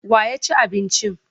Wa ya ci abincin?